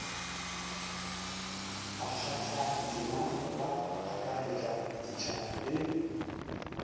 bakgathatema ba akaretša setšhaba le